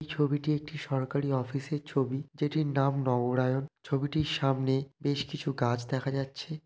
ছবিটি একটি সরকারি অফিসের ছবি। যেটির নাম নগরায়ণ। ছবিটির সামনে বেশ কিছু গাছ দেখা যাচ্ছে।